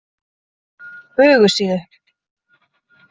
Bugðusíðu